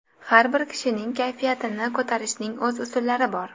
Har bir kishining kayfiyatini ko‘tarishning o‘z usullari bor.